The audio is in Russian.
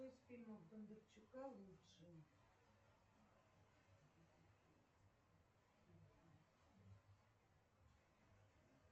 какой из фильмов бондарчука лучший